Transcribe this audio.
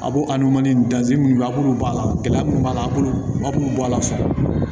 A b'o minnu a b'olu b'a la gɛlɛya minnu b'a la an bolo aw b'u bɔ a la fɔlɔ